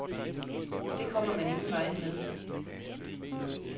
Det kommer man ingen vegne med.